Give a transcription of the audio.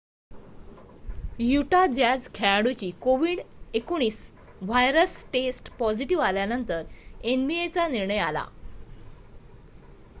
Utah Jazz खेळाडूची कोविड-19 virus test positive आल्यानंतर nba चा निर्णय आला